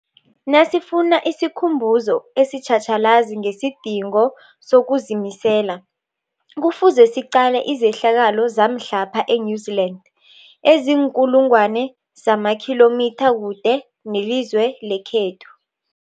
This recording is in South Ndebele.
Nasifuna isikhumbuzo esitjhatjhalazi ngesidingo sokuzimisela, Kufuze siqale izehlakalo zamhlapha e-New Zealand eziinkulu ngwana zamakhilomitha kude nelizwe lekhethu.